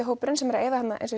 hópurinn sem er að eyða þarna